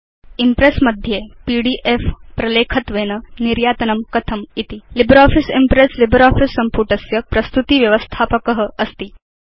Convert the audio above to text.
Impress मध्ये PDF प्रलेखत्वेन निर्यातनं कथमिति च लिब्रियोफिस इम्प्रेस् लिब्रियोफिस सम्पुटस्य प्रस्तुति व्यवस्थापक अस्ति